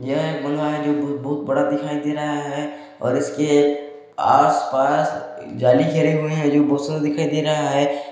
यह बांग्ला है जो ब बहुत बड़ा दिखाई दे रहा है और इसके आस पास जाली घेरे हुवे है जो बहुत सुन्दर दिखाई दे रहा है।